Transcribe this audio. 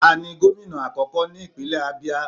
Ta ni gomina akoko ni ipinlẹ Abia?